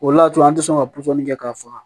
O le y'a to an tɛ sɔn ka pɔsɔni kɛ k'a faga